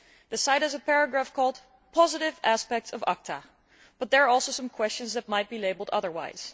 The site has a paragraph called positive aspects of ACTA', but there are also some questions that might be labelled otherwise.